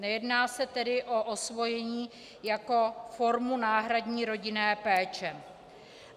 Nejedná se tedy o osvojení jako formu náhradní rodinné péče.